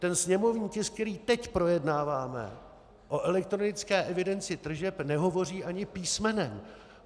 Ten sněmovní tisk, který teď projednáváme, o elektronické evidenci tržeb nehovoří ani písmenem.